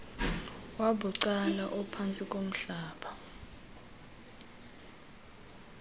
wabucala ophantsi komhlaba